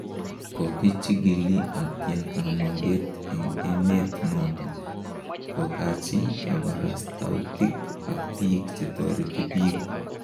Kokichikili atya kamuget en emeet noton kokachi kabarastautik ak biik chetoreti biik